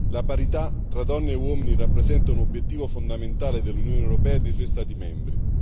La parità tra donne e uomini rappresenta un obiettivo fondamentale dell'Unione europea e dei suoi Stati membri.